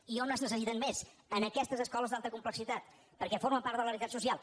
i on es necessiten més en aquestes escoles d’alta complexitat perquè formen part de la realitat social